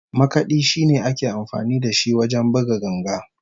Makadi shine ake amfani da shi wajen buga ganga